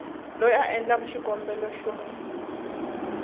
loyi a endlaku xikombelo xa